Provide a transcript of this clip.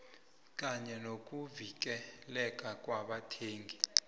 kanye nokuvikeleka kwabathengi